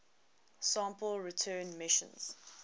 sample return missions